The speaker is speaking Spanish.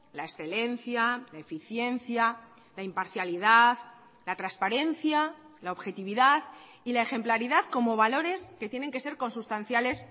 la excelencia la eficiencia la imparcialidad la transparencia la objetividad y la ejemplaridad como valores que tienen que ser consustanciales